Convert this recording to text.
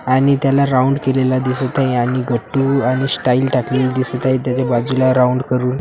आणि त्याला राऊंड केलेला दिसत आहे आणि गट्टू आणि स्टाईल टाकलेली दिसत आहे त्याच्या बाजूला राऊंड करून --